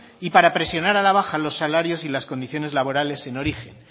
y para presionar a la baja los salarios y las condiciones laborales en origen